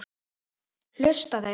Hlusta þeir?